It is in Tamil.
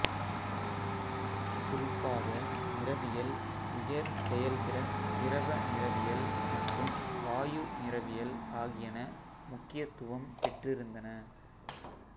குறிப்பாக நிறவியல் உயர் செயல்திறன் திரவ நிறவியல் மற்றும் வாயு நிறவியல் ஆகியன முக்கியத்துவம் பெற்றிருந்தன